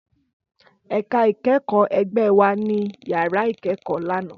Ẹka ikẹkọ ẹgbẹ wa ni yara ikẹkọ lana.